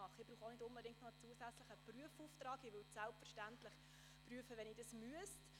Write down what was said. Ich benötige auch keinen zusätzlichen Prüfauftrag – ich würde es selbstverständlich prüfen, wenn ich dies müsste.